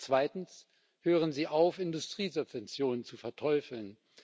Zweitens Hören Sie auf, Industriesubventionen zu verteufeln.